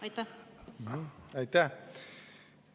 Aitäh!